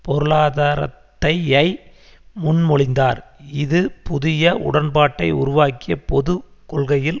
பொருளாதாரத்தையை முன்மொழிந்தார் இது புதிய உடன்பாட்டை உருவாக்கிய பொது கொள்கையில்